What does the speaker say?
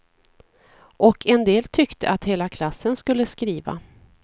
Och en del tyckte att hela klassen skulle skriva.